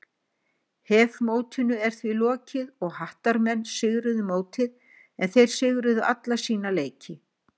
HEF mótinu er því lokið og Hattarmenn sigruðu mótið en þeir sigruðu alla sína leiki.